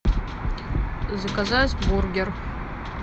заказать бургер